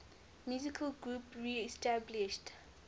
musical groups reestablished